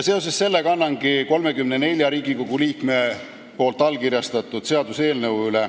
Seoses sellega annangi sisse 34 Riigikogu liikme allkirjastatud seaduseelnõu.